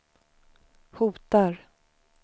hotar